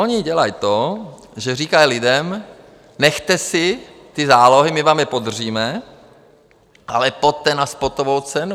Oni dělají to, že říkají lidem: Nechte si ty zálohy, my vám je podržíme, ale pojďte na spotovou cenu.